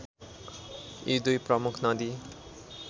यी दुई प्रमुख नदी